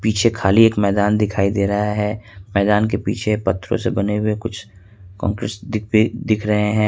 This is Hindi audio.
पीछे खाली एक मैदान दिखाई दे रहा है मैदान के पीछे पत्थरों से बने हुए कुछ कांग्रेसी दिख रहे हैं।